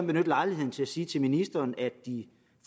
benytte lejligheden til at sige til ministeren at de